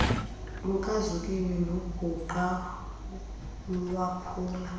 lukazuziwe nobhuqa lwaphula